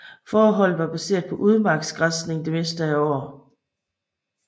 Fåreholdet var baseret på udmarksgræsning det meste af året